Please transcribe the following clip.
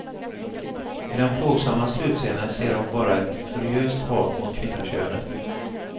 I den plågsamma slutscenen ser hon bara ett furiöst hat mot kvinnokönet.